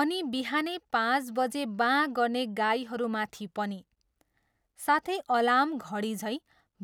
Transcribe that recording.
अनि बिहानै पाँच बजे बाँ गर्ने गाईहरूमाथि पनि। साथै अलार्म घडीझैँ